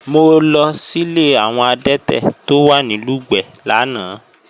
Mo lọ sílé àwọn adẹ́tẹ̀ tó wà ní Lùgbẹ̀ lánàá